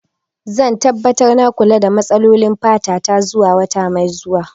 Zan tabbatar da na kula da matsalolin fata ta zuwa wata mai zuwa.